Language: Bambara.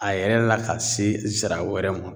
A yɛrɛ la ka se zira wɛrɛ ma